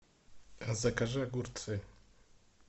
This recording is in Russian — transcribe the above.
закажи огурцы